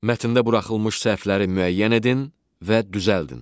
Mətndə buraxılmış səhvləri müəyyən edin və düzəldin.